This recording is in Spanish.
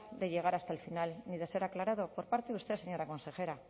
de llegar hasta el final ni de ser aclarado por parte de usted señora consejera